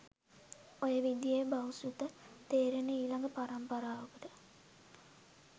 ඔය විදියේ බහුසෘත තේරෙන ඊළඟ පරම්පරාවකට